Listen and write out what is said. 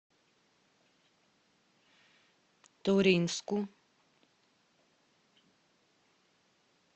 туринску